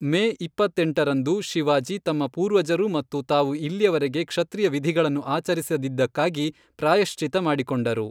ಮೇ ಇಪ್ಪತ್ತೆಂಟರಂದು, ಶಿವಾಜಿ ತಮ್ಮ ಪೂರ್ವಜರು ಮತ್ತು ತಾವು ಇಲ್ಲಿಯವರೆಗೆ ಕ್ಷತ್ರಿಯ ವಿಧಿಗಳನ್ನು ಆಚರಿಸದಿದ್ದಕ್ಕಾಗಿ ಪ್ರಾಯಶ್ಚಿತ್ತ ಮಾಡಿಕೊಂಡರು.